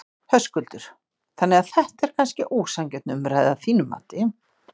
Höskuldur: Þannig að þetta er kannski ósanngjörn umræða að þínu mati?